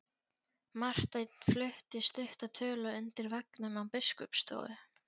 Marteinn flutti stutta tölu undir veggnum á biskupsstofu.